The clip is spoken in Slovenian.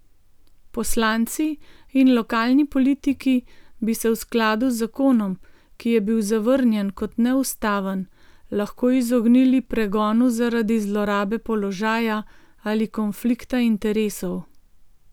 Poslanci in lokalni politiki bi se v skladu z zakonom, ki je bil zavrnjen kot neustaven, lahko izognili pregonu zaradi zlorabe položaja ali konflikta interesov.